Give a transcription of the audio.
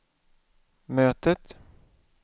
mötet